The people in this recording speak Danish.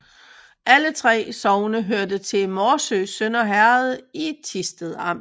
Alle 3 sogne hørte til Morsø Sønder Herred i Thisted Amt